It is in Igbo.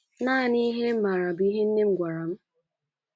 Nanị ihe m maara bụ ihe nne m gwara m